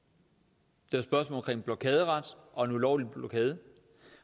det spørgsmål om blokaderet og en ulovlig blokade